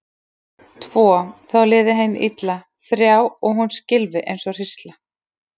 Tvo, þá liði henni illa, þrjá og hún skylfi eins og hrísla.